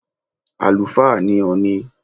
Àlùfáà ni Ọ̀ọ̀ni.